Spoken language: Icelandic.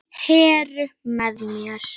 Heru með mér.